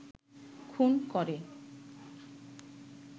খুন করে